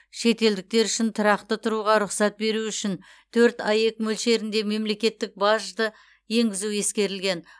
шетелдіктер үшін тұрақты тұруға рұқсат беру үшін төрт аек мөлшерінде мемлекеттік бажды енгізу ескерілген